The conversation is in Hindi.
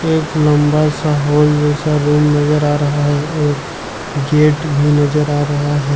एक लंबा सा हॉल जैसा रूम नजर आ रहा है और गेट भी नजर आ रहा है।